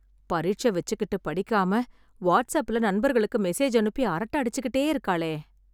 பரிட்ச வெச்சுக்கிட்டு படிக்காம, வாட்ஸ் அப்புல நண்பர்களுக்கு மெசேஜ் அனுப்பி, அரட்ட அடிச்சுகிட்டே இருக்காளே..